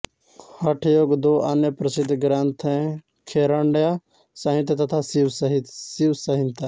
हठयोग के दो अन्य प्रसिद्ध ग्रन्थ हैं घेरण्ड संहिता तथा शिव संहिता